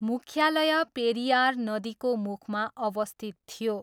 मुख्यालय पेरियार नदीको मुखमा अवस्थित थियो।